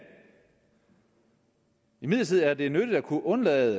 imidlertid er det nyttigt at kunne undgå at